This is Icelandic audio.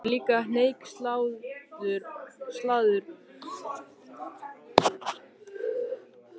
Hann er líka hneykslaður á mér.